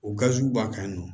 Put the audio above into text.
O gaziw b'an kan yen nɔ